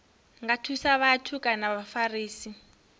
nga thusa vhathu kana vhafarisi